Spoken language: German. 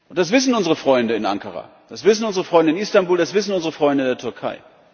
Das wissen unsere Freunde in Ankara, das wissen unsere Freunde in Istanbul, das wissen unsere Freunde in der Türkei.